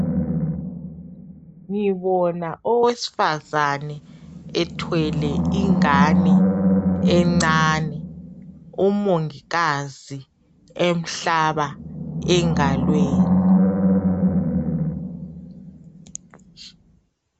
Ngibona owesifazane ethwele ingane encane, umongikazi emhlaba engalweni.